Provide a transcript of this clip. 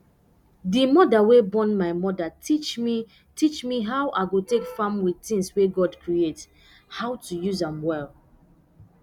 d mother wey born my mother teach me teach me how i go take farm with things wey god create how to use am well